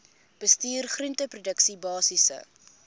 bestuur groenteproduksie basiese